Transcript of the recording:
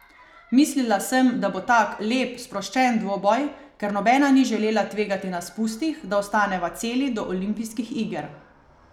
Mislila sem, da bo tak lep, sproščen dvoboj, ker nobena ni želela tvegati na spustih, da ostaneva celi do olimpijskih iger.